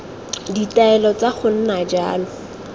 ditaelo tsa go nna jalo